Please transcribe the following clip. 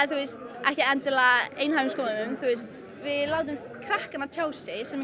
ekki endilega einhæfum skoðunum við látum krakkana tjá sig sem